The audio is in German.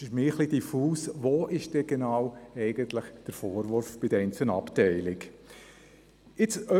könnte, welches genau der Vorwurf gegen die einzelnen Abteilungen ist.